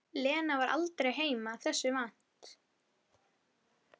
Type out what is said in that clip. Lena var heima aldrei þessu vant.